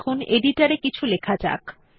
এখন এডিটর এ কিছু লেখা যাক